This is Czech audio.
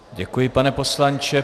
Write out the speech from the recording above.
Děkuji, pane poslanče.